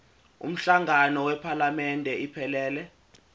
umhlangano wephalamende iphelele